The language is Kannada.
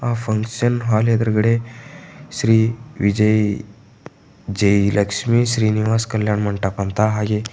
ಫಂಕ್ಷನ್ ಹಾಲ್ ಎದುರುಗಡೆ ಶ್ರೀವಿಜಯ ಜೈ ಲಕ್ಷ್ಮಿ ಶ್ರೀನಿವಾಸ್ ಕಲ್ಯಾಣ ಮಂಟಪ ಅಂತ ಹಾಗೆ --